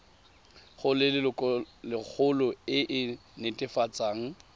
go lelokolegolo e e netefatsang